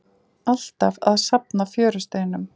Alltaf að safna fjörusteinum.